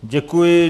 Děkuji.